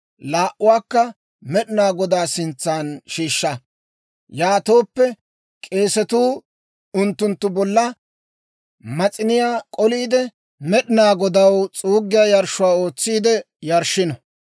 laa"uwaakka Med'inaa Godaa sintsa shiishsha. Yaatooppe k'eesatuu unttunttu bolla mas'iniyaa k'oliide, Med'inaa Godaw s'uuggiyaa yarshshuwaa ootsiide yarshshino.